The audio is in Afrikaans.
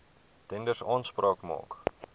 tenders aanspraak maak